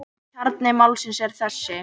Kjarni málsins er þessi.